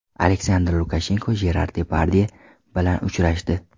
Aleksandr Lukashenko Jerar Depardye bilan uchrashdi.